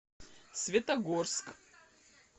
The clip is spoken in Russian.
светогорск